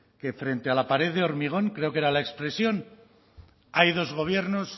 que frente a la pared de hormigón creo que era la expresión hay dos gobiernos